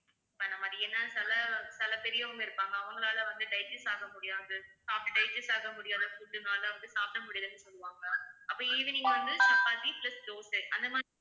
பண்ண மாதிரி ஏன்னா சில சில பெரியவங்க இருப்பாங்க அவங்களால வந்து digest ஆக முடியாது சாப்பிட்டு digest ஆக முடியாத food னால வந்து சாப்பிட முடியலன்னு சொல்லுவாங்க அப்ப evening வந்து சப்பாத்தி plus தோசை அந்த மாதிரி